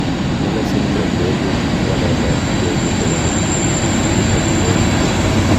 Miller syndrome koibu waletab tekutikab DHODH .